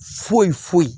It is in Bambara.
Foyi foyi